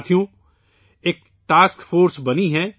ساتھیو ، ایک task force بنائی گئی ہے